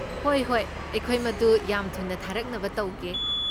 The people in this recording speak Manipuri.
ꯍꯣꯏ ꯍꯣꯏ꯫ ꯑꯩꯈꯣꯏ ꯃꯗꯨ ꯌꯥꯝ ꯊꯨꯅ ꯊꯥꯔꯛꯅꯕ ꯇꯧꯒꯦ꯫